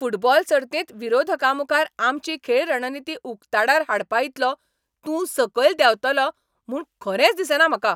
Football सर्तींत विरोधकांमुखार आमची खेळ रणनिती उकताडार हाडपा इतलो तूं सकयल देंवतलो म्हूण खरेंच दिसना म्हाका.